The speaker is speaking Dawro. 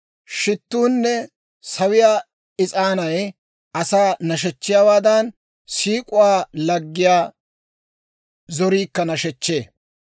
Shittuunne sawiyaa is'aanay asaa nashechchiyaawaadan, siik'uwaa laggiyaa zoriikka nashechchee.